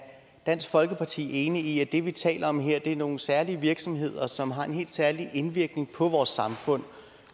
dansk folkeparti enig i at det vi taler om her er nogle særlige virksomheder som har en helt særlig indvirkning på vores samfund